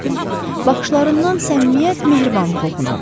Baxışlarından səmimiyyət, mehribanlıq oxunurdu.